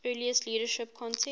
earlier leadership contest